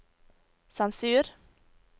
sensur